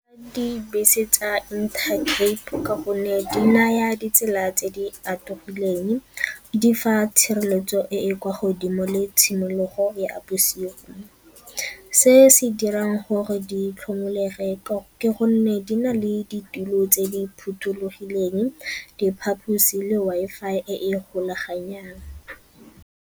Dibese tsa Intercape ka gonne di naya ditsela tse di atologileng, di fa tshireletso e e kwa godimo le tshimologo ya bosigo. Se se dirang gore ditlhomolege ke gonne di na le ditulo tse di phothulogileng, diphaposi le Wi-Fi e e golaganang.